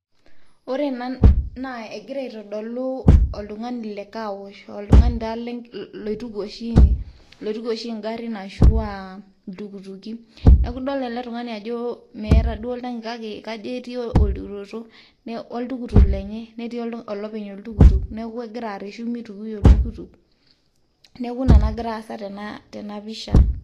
Ore ena naa egira aitodolu oltung'ani le car wash, oltung'ani taa loituku oshi loituku oshi ng'arin ashu a iltukutuki. Neeku idol ele tung'ani ajo meeta duo oltaki kake kajo eti olturoto wo ltukutuk lenye, neeku eti olopenye oltukutuk neeku egira areshu mitukui oltukutuk. Neeku ina nagira aasa tena pisha.